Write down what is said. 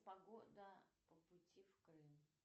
погода по пути в крым